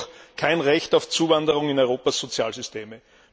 Es gibt jedoch kein Recht auf Zuwanderung in Europas Sozialsysteme.